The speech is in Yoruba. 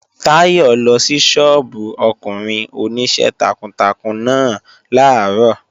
Táyọ̀ lọ sí sọ́ọ́bù ọkùnrin Oníṣẹ́ takuntakun náà làárọ̀